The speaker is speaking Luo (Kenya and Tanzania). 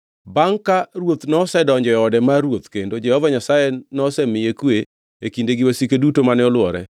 Bangʼe ka ruoth nosedonjo e ode mar ruoth kendo Jehova Nyasaye nosemiye kwe e kinde gi wasike duto mane olwore,